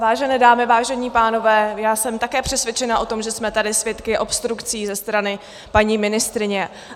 Vážené dámy, vážení pánové, já jsem také přesvědčena o tom, že jsme tady svědky obstrukcí ze strany paní ministryně.